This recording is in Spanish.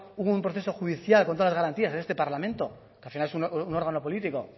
un proceso judicial con todas las garantías en este parlamento que al final es un órgano político